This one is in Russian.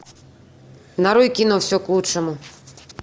нарой кино все к лучшему